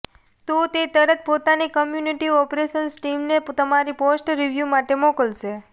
તો તે તરત પોતાની કોમ્યુનિટી ઓપરેશન્સ ટીમને તમારી પોસ્ટ રિવ્યુ માટે મોકલશે